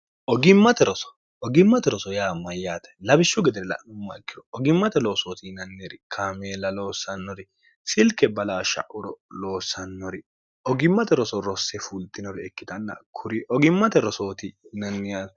ogimmate roso yaa mayyaate labishshu gedere la'numma ikkiro ogimmate loosooti yinanneeri kaameela loossannori silke balaassha'uro loosannori ogimmate roso rosse fulxinori ikkitanna kuri ogimmate rosooti yinanniar